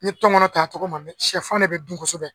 N ye tɔngɔnɔ ta a tɔgɔ ma siyɛfan de bɛ dun kosɛbɛ.